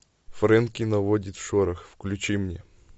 фрэнки наводит шорох включи мне